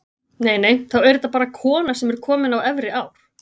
Nei, nei, þá er þetta bara kona sem er komin á efri ár!